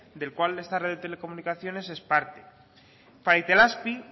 del cual esta red de telecomunicaciones es parte para itelazpi